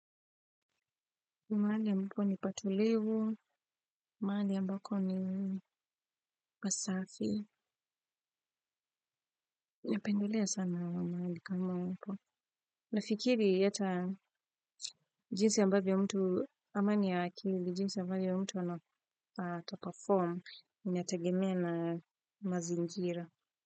Mahali a mbapo ni patulivu, mahali a mbako ni pasafi. Napendelea sana mahali kama hapo. Nafikiri ata jinsi a mbavyo mtu, amani ya akili, jinsi a mbavyo mtu anata-perform, in atagemea na mazingira.